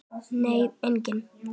Nei, enginn